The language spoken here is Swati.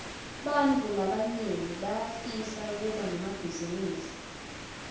bantfu labanyenti bayafisa kuba nemabhizinisi